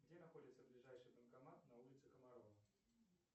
где находится ближайший банкомат на улице комарова